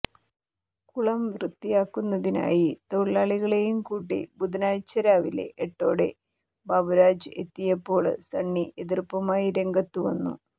കുളം വൃത്തിയാക്കുന്നതിനായി തൊഴിലാളികളെയുംകൂട്ടി ബുധനാഴ്ച രാവിലെ എട്ടോടെ ബാബുരാജ് എത്തിയപ്പോള് സണ്ണി എതിര്പ്പുമായി രംഗത്തു വന്നു